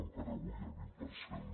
encara avui el vint per cent